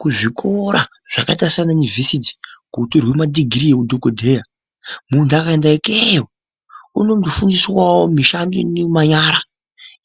Kuzvikora zvakaita saanayunivhesiti kunotorwe madhigirii ehudhokodheya, muntu akaenda ikeyo unondofundiswawo mishando ino yemanyara